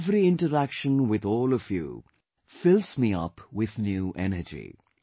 Every interaction with all of you fills me up with new energy